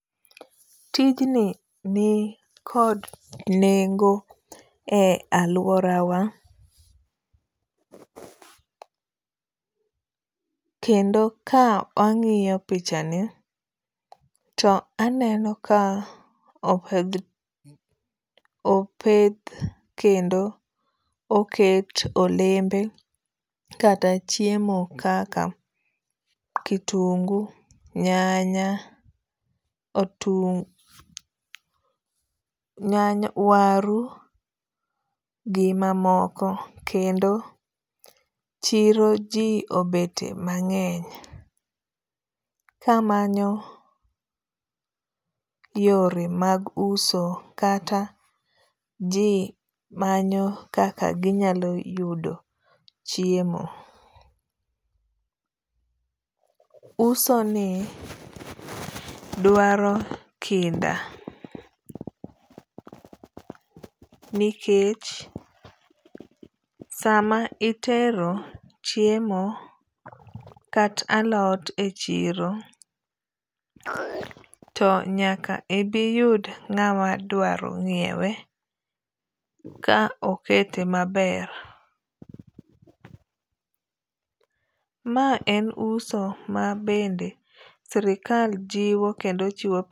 Tij ni ni kod nengo e aluora wa. kendo ka ang'iyo picha ni to aneno ka opedh opeth kendo oket olembe kata chiemo kaka kitungu ,nyanya ,otungu, nyanya, waru gi ma moko kendo chiro ji obete ma ng'eny ka manyo yore mag uso kata ji manyo kaka gi nyalo yudo chiemo. Uso ni dwaro kinda nikech saa ma itero chiemo kata alot e chiro to nyak ibi yud ng'ama dwaro nyiewe ka okete ma ber. Ma en uso ma bende sirkal jiwo kendo chiwo pesa.